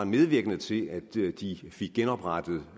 medvirkende til at de fik genoprettet